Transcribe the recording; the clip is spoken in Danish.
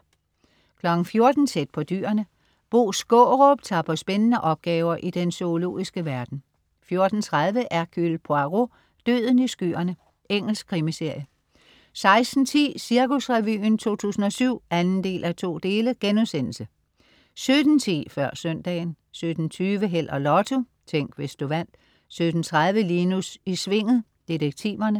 14.00 Tæt på dyrene. Bo Skaarup tager på spændende opgaver i den zoologiske verden 14.30 Hercule Poirot: Døden i skyerne. Engelsk krimiserie 16.10 Cirkusrevyen 2007 2:2* 17.10 Før søndagen 17.20 Held og Lotto. Tænk, hvis du vandt 17.30 Linus i Svinget. Detektiverne